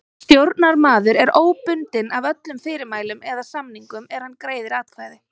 Stjórnarmaður er óbundinn af öllum fyrirmælum eða samningum er hann greiðir atkvæði.